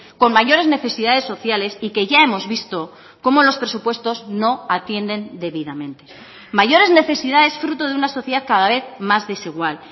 con mayores necesidades sociales y que ya hemos visto cómo los presupuestos no atienden debidamente mayores necesidades fruto de una sociedad cada vez más desigual